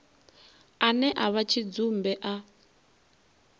ane a vha tshidzumbe a